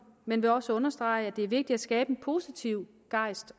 men vil også understrege at det er vigtigt at skabe en positiv gejst